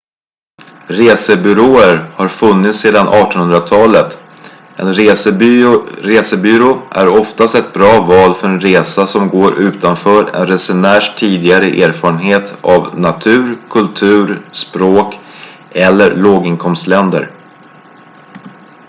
resebyråer har funnits sedan 1800-talet en resebyrå är oftast ett bra val för en resa som går utanför en resenärs tidigare erfarenhet av natur kultur språk eller låginkomstländer